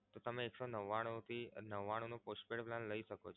તમે એક સો નવ્વાણું થી નવ્વાણું નો postpaid plan લઈ શકો છો.